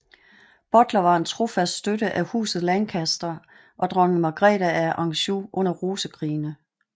Butler var en trofast støtte af Huset Lancaster og dronning Margrete af Anjou under Rosekrigene